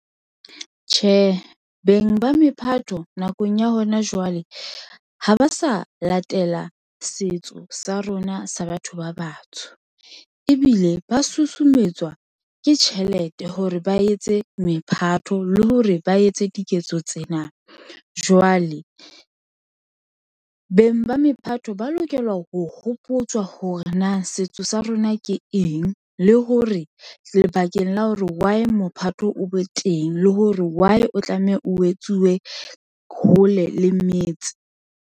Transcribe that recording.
Tjhe, beng ba mephato nakong ya hona jwale ha ba sa latela setso sa rona sa batho ba batsho ebile ba susumetswa ke tjhelete hore ba etse mephato le hore ba etse diketso tsena. Jwale beng ba mephato ba lokela ho hopotswa hore na setso sa rona ke eng le hore lebakeng la hore why mophato o be teng le hore why o tlameha o etsuwe hole le metse.